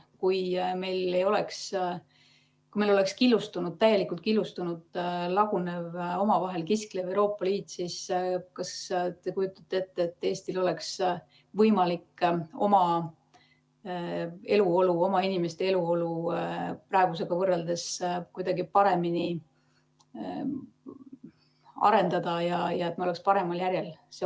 Kui meil oleks täielikult killustunud, lagunev, omavahel kisklev Euroopa Liit, kas te siis kujutaksite ette, et Eestil oleks võimalik oma inimeste eluolu praegusega võrreldes kuidagi paremini arendada ja me oleksime paremal järjel?